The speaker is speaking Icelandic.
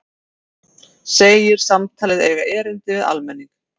Segir samtalið eiga erindi við almenning